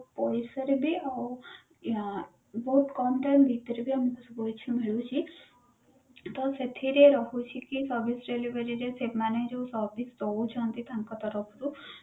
ପଇସା ରେ ବି ଆଉ ଆଁ ବହୁତ କମ time ଭିତରେ ଆମକୁ ସବୁକିଛି ମିଳୁଛି ତ ସେଥିରେ ରହୁଛି କି service delivery ରେ ସେମାନେ ସେମାନେ ଜଓୟାଉ service ଦଉଛନ୍ତି ତାଙ୍କ ତରଫରୁ